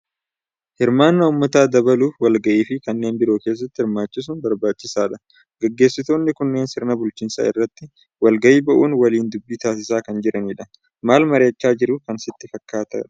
Hirmaannaa uummataa dabaluuf wal ga'ii fi kanneen biroo keessatti hirmaachisuun barbaachisaadha. Gaggeessitoonni kunnen sirna bulchiinsaa irratti wal ga'ii ba'uun waliin dubbii taasisaa kan jiranidha. Maal marii'achaa jiru kan sitti fakkaatanidha?